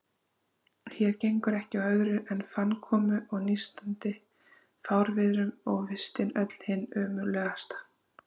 Hér gengur ekki á öðru en fannkomu og nístandi fárviðrum, og vistin öll hin ömurlegasta.